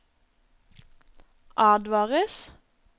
advares